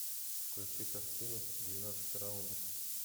включи картину двенадцать раундов